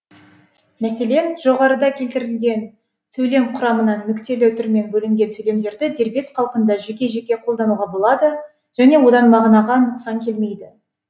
мәселен жоғарыда келтірілген сөйлем құрамынан нүктелі үтірмен бөлінген сөйлемдерді дербес қалпында жеке жеке қолдануға болады және одан мағынаға нұқсан келмейді